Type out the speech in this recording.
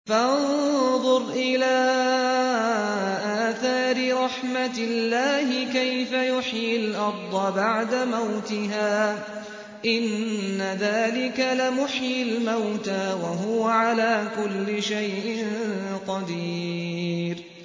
فَانظُرْ إِلَىٰ آثَارِ رَحْمَتِ اللَّهِ كَيْفَ يُحْيِي الْأَرْضَ بَعْدَ مَوْتِهَا ۚ إِنَّ ذَٰلِكَ لَمُحْيِي الْمَوْتَىٰ ۖ وَهُوَ عَلَىٰ كُلِّ شَيْءٍ قَدِيرٌ